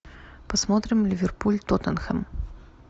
посмотрим ливерпуль тоттенхэм